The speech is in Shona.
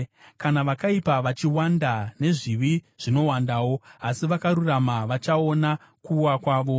Kana vakaipa vachiwanda, nezvivi zvinowandawo, asi vakarurama vachaona kuwa kwavo.